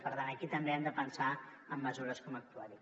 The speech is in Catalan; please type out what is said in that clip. per tant aquí també hem de pensar en mesures com actuar hi